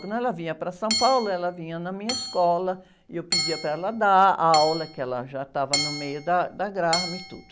Quando ela vinha para São Paulo, ela vinha na minha escola e eu pedia para ela dar a aula, que ela já estava no meio da Graham e tudo.